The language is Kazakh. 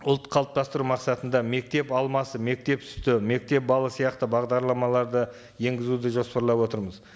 ұлт қалыптастыру мақсатында мектеп алмасы мектеп сүті мектеп балы сияқты бағдарламаларды енгізуді жоспарлап отырмыз